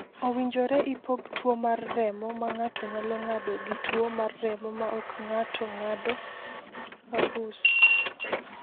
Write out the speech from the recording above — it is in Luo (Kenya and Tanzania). Owinjore ipog tuwo mar remo ma ng’ato nyalo ng’ado gi tuwo mar remo ma ok ng’ato ng’ado (aHUS).